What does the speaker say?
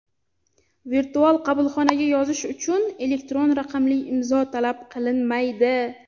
Virtual qabulxonaga yozish uchun elektron raqamli imzo talab qilinmaydi.